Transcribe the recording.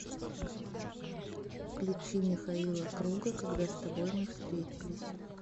включи михаила круга когда с тобой мы встретились